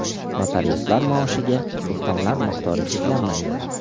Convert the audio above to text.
Notariuslar maoshiga ustamalar miqdori cheklanmaydi.